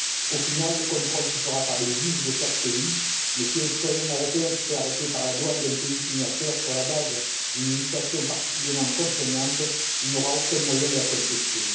Au final, le contrôle se fera par les juges de chaque pays, mais si un citoyen européen se fait arrêter par la douane d'un pays signataire sur la base d'une législation particulièrement contraignante, il n'aura aucun moyen de la contester.